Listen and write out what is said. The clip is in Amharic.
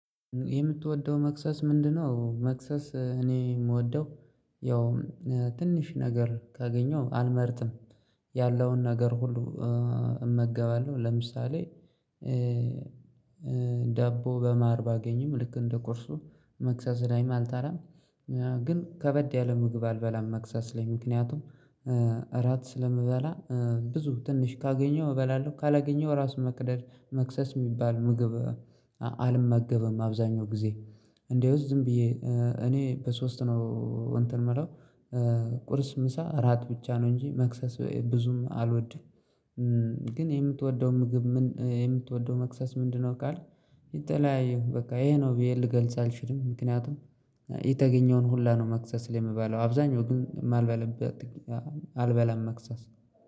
የምትወደው መክሰስ ምንድነው? መክሰስ እኔ የምወደው ያው ትንሽ ነገር ካገኘው አልመርጥም ያለውን ነገር ሁሉ። እመገባለሁ ለምሳሌ ዳቦ በማር ባገኝም ልክ እንደ ቁርሱ መክሰስ ላይም አልጠላም። ግን ከበድ ያለ ምግብ አልበላም መክሰስ ላይ ምክንያቱም እራት ስለምበላ ብዙ ትንሽ ካገኘው እበላለሁ። ካላገኘው ራስ መቅደል መክሰስ የሚባል ምግብ አልመገብም። አብዛኛው ጊዜ እንደውስ ዝም ብዬ እኔ በሶስት ነው እንትን ምለው ቁርስ ምሳ እራት ብቻ ነው እንጂ መክሰስ ብዙም አልወድም። ግን የምትወደው ምግብ ምን የምትወደው መክሰስ ምንድነው? ካልክ የተለያየ በቃ ይሄ ነው ብዬ ልገልጽ አልችልም ምክንያቱም የተገኘውን ሁላ ነው መክሰስ ላይ የምበለው አብዛኛው ግን ማልበላበት አልበላም። መክሰስ